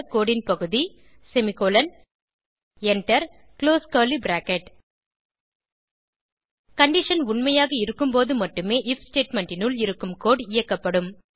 கோடு ன் பகுதி semicolon enter close curly bracket condition உண்மையாக இருக்கும்போது மட்டுமே ஐஎஃப் ஸ்டேட்மெண்ட் னுள் இருக்கும் கோடு இயக்கப்படும்